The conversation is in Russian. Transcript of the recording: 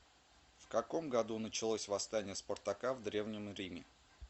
в каком году началось восстание спартака в древнем риме